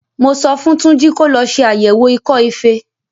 Mo sọ fún Júnjí kó lọ ṣe àyẹ̀wò ikọ́-ifẹ.